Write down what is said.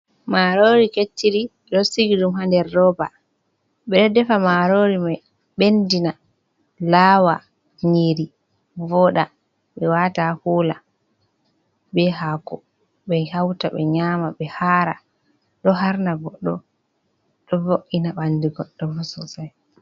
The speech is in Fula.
Marori Kecciri Ɓe Ɗo Sigidum Ha Ɗer Roɓa. Ɓeɗo Ɗefa Marori Mai, Ɓenɗina Lawa Nyiri Voɗa, Ɓe Wata Kula Ɓe hako be hauta Ɓe Nyama Ɓe Hara Ɗo Harna Goɗɗo Ɗo Vo’ina Ɓandu Goɗɗo Ɓo Sosai.